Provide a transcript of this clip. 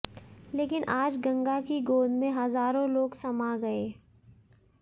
लेकिन आज गंगा की गोद में हजारों लोग समा गए